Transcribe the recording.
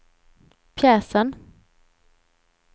pjäsen